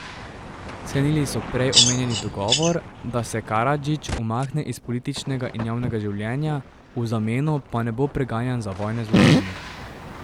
Sklenili so prej omenjeni dogovor, da se Karadžić umakne iz političnega in javnega življenja, v zameno pa ne bo preganjan za vojne zločine.